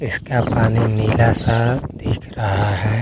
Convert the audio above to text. इसका पानी नीला सा दिख रहा है।